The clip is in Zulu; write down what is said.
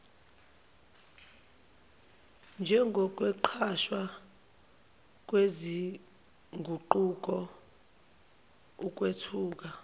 njengokwenqatshwa kwezinguquko ukwethuka